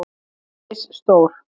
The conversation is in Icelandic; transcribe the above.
Þau eru misstór.